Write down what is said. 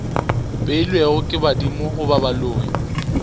beilwego ke badimo goba baloi